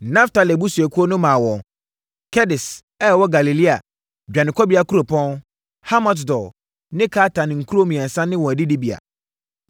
Naftali abusuakuo no maa wɔn Kedes a ɛwɔ Galilea (dwanekɔbea kuropɔn), Hamot-Dor ne Kartan nkuro mmiɛnsa ne wɔn adidibea.